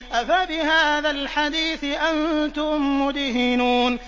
أَفَبِهَٰذَا الْحَدِيثِ أَنتُم مُّدْهِنُونَ